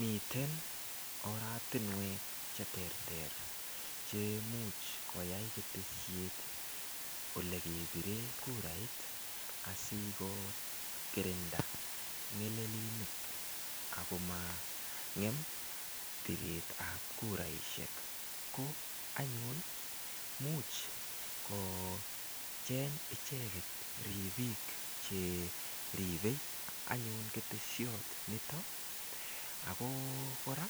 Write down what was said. Miten oratinwek che ter ter chemuch koyai ketesiet olekepire kurait asikokirinda ng'elelinik akoma ngem biret ap kuraishek ko anyun muuch kocheny icheket ripik cheripei anyun ketesiot nito ako kora